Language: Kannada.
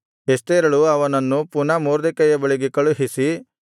ಎಸ್ತೇರಳು ಅವನನ್ನು ಪುನಃ ಮೊರ್ದೆಕೈಯ ಬಳಿಗೆ ಕಳುಹಿಸಿ